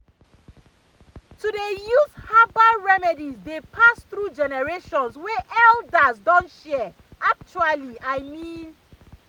to dey use herbal remedies dey pass through generations wey elders don share actually i mean